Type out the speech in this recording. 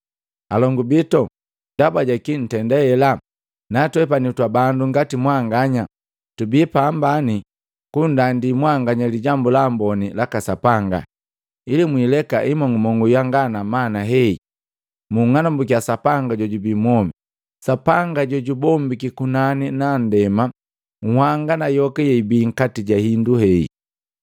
“Alongu bito, ndaba jaki ntenda ela? Natwepani twa bandu ngati mwanganya. Tubi pambani kunndandi mwanganya Lijambu la Amboni laka Sapanga, ili muileka imong'umong'u yanga na mana hei, munng'anambukia Sapanga jojubi mwomi, Sapanga jojubombiki kunani na ndema, nhanga na yoka yeibi nkati ja hindu hei.